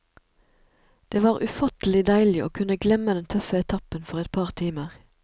Det var ufattelig deilig å kunne glemme den tøffe etappen for et par timer.